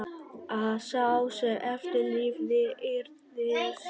Að sá sem eftir lifði yrði sár.